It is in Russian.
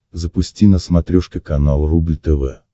запусти на смотрешке канал рубль тв